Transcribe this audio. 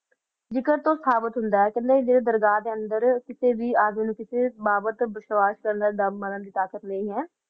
ਬੇਕੈਉਸੇ ਅੰਦਾ ਤੋ ਸਾਬਤ ਹੋਂਦਾ ਆ ਲੋਗ ਮਾਰਨ ਤੋ ਸਾਬਤ ਹੋਂਦਾ ਆ